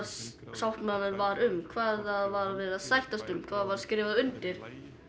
sáttmálinn var um hvað var verið að sættast um hvað var skrifað undir